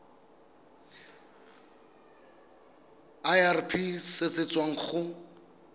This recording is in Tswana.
irp se se tswang go